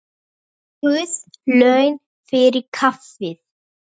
Guð laun fyrir kaffið.